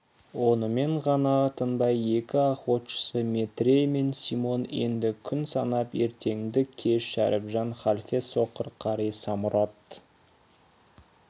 онымен ғана тынбай екі охотшысы метрей мен симон енді күн санап ертеңді-кеш шәріпжан халфе соқыр қари самұрат